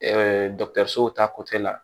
dɔkitɛrisow ta la